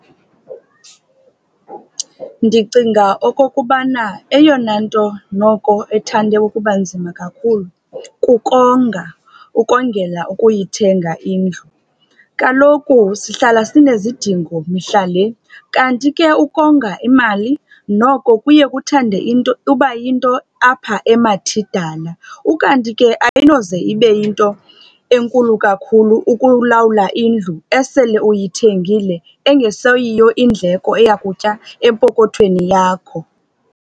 Ndicinga okokubana eyona nto noko ethande ukuba nzima kakhulu kukonga, ukongela ukuyithenga indlu. Kaloku sihlala sinezidingo mihla le, kanti ke ukonga imali noko kuye kuthande into uba yinto apha emathidala. Ukanti ke ayinoze ibe yinto enkulu kakhulu ukulawula indlu esele uyithengile, engeseyiyo indleko eya kutya empokothweni yakho.